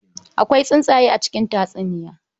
Akwai tsuntsaye a cikin tatsuniya.